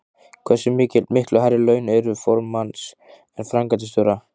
Hversu miklu hærri eru laun formanns en framkvæmdastjóra?